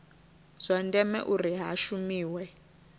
zwa ndeme uri hu shumiwe